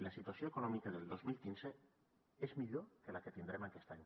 la situació econòmica del dos mil quinze és millor que la que tindrem aquest any